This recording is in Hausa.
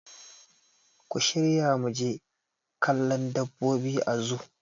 Ku shirya muje kallon dabbobi a zoo